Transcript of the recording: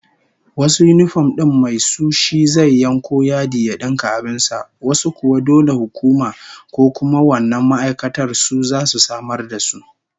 Wasu yinifom din mai su shi zai yanko yadi ya dinka abin sa, wasu kuwa dole hukuma ko kuma wannan ma'aikatar su zasu samar da su.